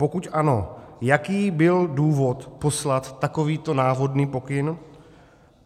Pokud ano, jaký byl důvod poslat takovýto návodný pokyn?